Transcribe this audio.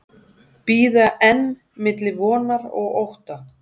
Bíða enn milli vonar og ótta